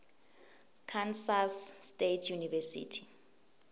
kansas state university